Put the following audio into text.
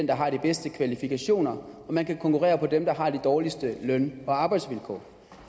der har de bedste kvalifikationer og man kan konkurrere på hvem der har de dårligste løn og arbejdsvilkår